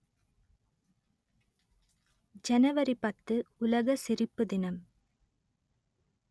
ஜனவரி பத்து உலக சிரிப்பு தினம்